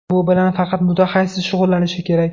Bu bilan faqat mutaxassis shug‘ullanishi kerak!